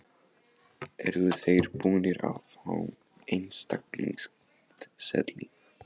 Eru þeir búnir að fá einstaklingseðli?